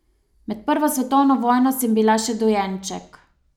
Med prvo svetovno vojno sem bila še dojenček.